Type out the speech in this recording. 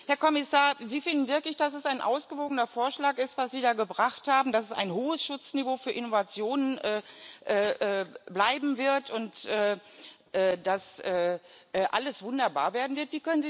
Herr Kommissar, Sie finden wirklich, dass es ein ausgewogener Vorschlag ist, was Sie da gebracht haben, dass es ein hohes Schutzniveau für Innovationen bleiben wird und dass alles wunderbar werden wird?